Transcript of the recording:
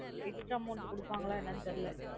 Extra amount குடுபாங்கள என்னனு தெரியலா.